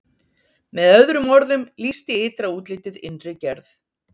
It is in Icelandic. með öðrum orðum lýsti ytra útlitið innri gerð